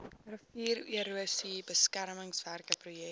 riviererosie beskermingswerke projek